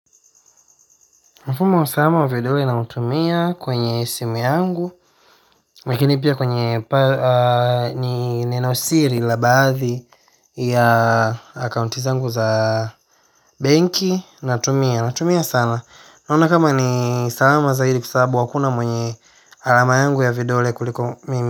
Mfumo wa salama wa vidole nautumia kwenye simu yangu. Lakini pia kwenye ni nenosiri la baadhi ya akaunti zangu za benki. Natumia, natumia sana, naona kama ni salama zaidi kwa sababu hakuna mwenye alama yangu ya vidole kuliko mimi.